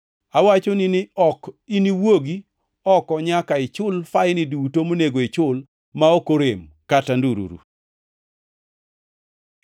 Awachoni ni ok niwuog oko nyaka ichul faini duto monego ichul ma ok orem kata ndururu.”